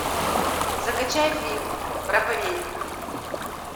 закачай фильм проповедник